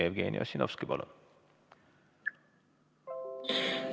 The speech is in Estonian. Jevgeni Ossinovski, palun!